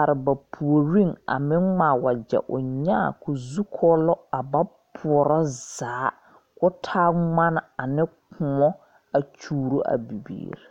arẽ ba pouring a meng ngmaa wɔje ɔ nyaã kuo zu kuolo a ba poɔro zaa kuo taa mgani ane koun a kyuuro a bibiiri.